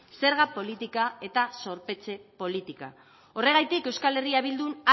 zerga politika eta zorpetze politika horregatik euskal herria bildun